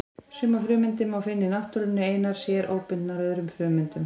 Sumar frumeindir má finna í náttúrunni einar sér, óbundnar öðrum frumeindum.